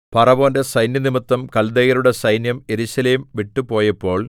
ഫറവോന്റെ സൈന്യംനിമിത്തം കല്ദയരുടെ സൈന്യം യെരൂശലേം വിട്ടുപോയപ്പോൾ